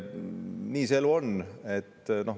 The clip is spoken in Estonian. Nii see elu on.